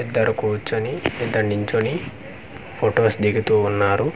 ఇద్దరు కూర్చొని ఇద్దరు నించొని ఫొటోస్ దిగుతూ ఉన్నారు.